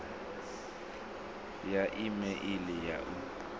ya e meili ya u